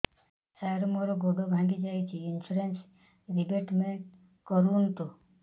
ସାର ମୋର ଗୋଡ ଭାଙ୍ଗି ଯାଇଛି ଇନ୍ସୁରେନ୍ସ ରିବେଟମେଣ୍ଟ କରୁନ୍ତୁ